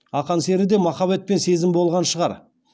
ақан серіде махаббет пен сезім болған шығар